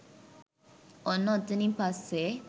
ඔන්න ඔතනින් පස්සෙ